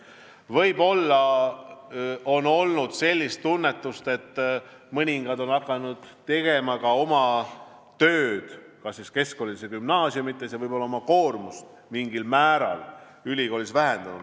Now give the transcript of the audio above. Võib-olla on olnud sellist tunnetust, et mõni inimene on hakanud tegema tööd ka keskkoolis või gümnaasiumis ja võib-olla oma koormust ülikoolis mingil määral vähendanud.